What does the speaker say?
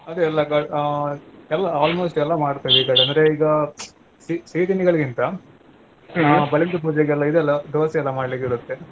ಅದೆ ಎಲ್ಲಾ ಕ~ ಎಲ್ಲಾ almost ಎಲ್ಲಾ ಮಾಡ್ತೆವೆ ಈ ಕಡೆ ಅಂದ್ರೆ ಈಗಾ ಸಿ~ ಸಿಹಿ ತಿಂಡಿಗಳಿಗಿಂತ ನಾವ್ ಬಲೀಂದ್ರ ಪೂಜೆಗೆ ಇದಲ್ಲಾ Dosa ಯಲ್ಲ ಮಾಡ್ಲಿಕಿರುತ್ತೆ.